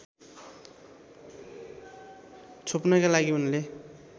छोप्नैका लागि उनले